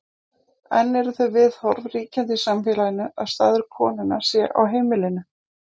enn eru þau viðhorf ríkjandi í samfélaginu að staður konunnar sé á heimilinu